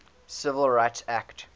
civil rights act